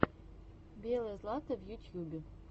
белое злато в ютьюбе